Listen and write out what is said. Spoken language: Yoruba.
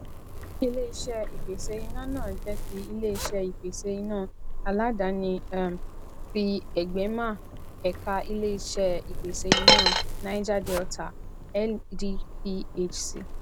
ileiṣẹ ìpèsè iná náà jẹ tí iléiṣé ìpèsè iná aládàáni um tí egbema ẹka iléiṣé ìpèsè iná naija delita ndphc